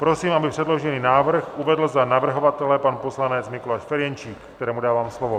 Prosím, aby předložený návrh uvedl za navrhovatele pan poslanec Mikuláš Ferjenčík, kterému dávám slovo.